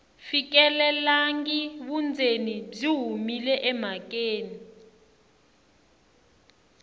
fikelelangi vundzeni byi humile emhakeni